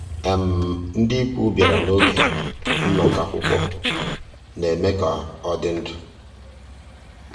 ndị́ ìkwù bìàrà n'ògé nnọ́kọ́ àkwụ́kwọ́ ná-èmè ká ọ́ dị́ ndụ́.